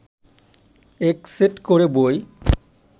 এক সেট করে বই